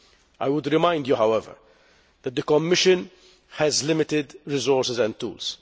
I would remind you, however, that the Commission has limited resources and tools.